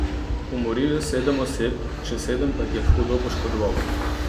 Umoril je sedem oseb, še sedem pa jih je hudo poškodoval.